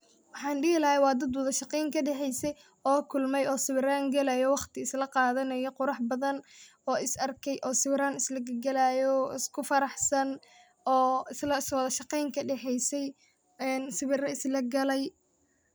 Waxan dihi lahay wa dad wadashaqeyn kadhexeysey oo kulmey oo sawiran galayo waqti silaqadanayo qurux badan oo is arkey oo sawiran islagalayo oo iskufaraxsan oo wadashaqeyn kadexeysey oo sawiro islagalay.